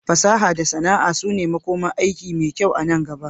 Fasaha da sana'a su ne makomar aiki mai kyau anan gaba.